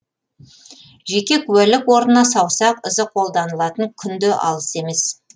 жеке куәлік орнына саусақ ізі қолданылатын күн де алыс емес